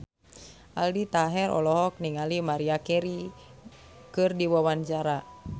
Aldi Taher olohok ningali Maria Carey keur diwawancara